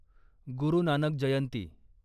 गुरू Nanak जयंती